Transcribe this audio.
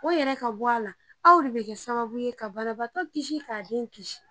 O yɛrɛ ka bɔ a la aw de bɛ kɛ sababu ye ka banabagatɔ kisi k'a den kisi